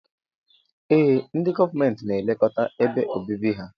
Ee ndi gọọmenti na elekọta ebe obibi ha.